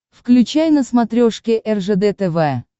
включай на смотрешке ржд тв